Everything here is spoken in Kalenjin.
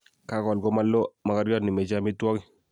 Kagowal ko maloo mogoryot nechame amitwogik